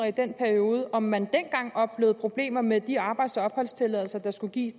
i den periode om man dengang oplevede problemer med de arbejds og opholdstilladelser der skulle gives